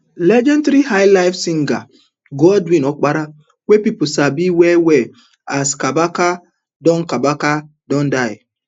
legendary highlife singer godwin opara wey pipu sabi wellwell as kabaka don kabaka don die